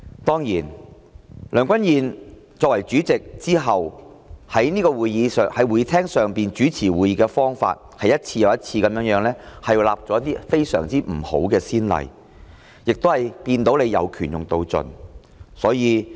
當然，梁君彥任主席以來，在會議廳上主持會議的方法，是一次又一次地立下了非常惡劣的先例，亦看到他"有權用到盡"。